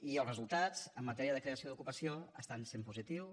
i els resultats en matèria de creació d’ocupació estan sent positius